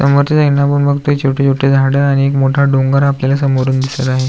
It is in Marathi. समोरच्या साइडने आपण बघतोय छोटे छोटे झाड आणि एक मोठा डोंगर आपल्याला समोरून दिसत आहे.